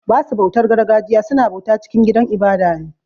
Basu bautar gargajiya su na bauta cikin gidan ibada ne.